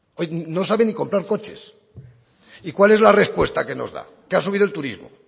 no sabe ni comprar coches y cuál es la respuesta que nos da que ha subido el turismo